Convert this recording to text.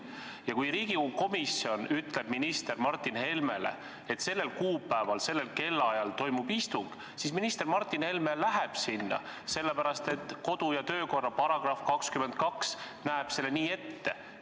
Ja kui Riigikogu komisjon ütleb minister Martin Helmele, et sellel kuupäeval sellel kellaajal toimub istung, siis minister Martin Helme läheb sinna, sellepärast et kodu- ja töökorra seaduse § 22 näeb nii ette.